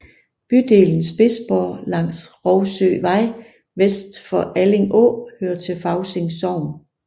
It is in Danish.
Bydelen Spidsborg langs Rougsøvej vest for Alling Å hører til Fausing Sogn